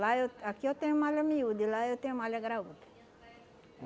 Lá eu aqui eu tenho malha miúda e lá eu tenho malha graúda.